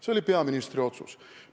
See oli peaministri otsus.